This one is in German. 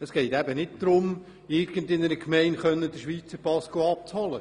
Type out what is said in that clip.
Es geht eben nicht darum, in irgendeiner Schweizer Gemeinde den Schweizer Pass abzuholen.